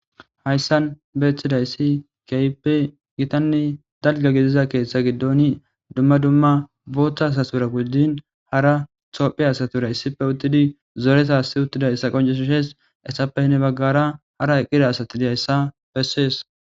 Hayisan betizayisi kehippe gitanne dalga gidida ketha gidon duma duma botha asatura gujin hara tophiya asatura issippe utidi zoreta siyidayisa qonc, ises hesappe hini bagara hara eqida asati dizayisa qonccises